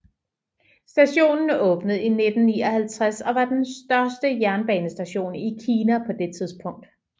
Stationen åbnede i 1959 og var den største jernbanestation i Kina på det tidspunkt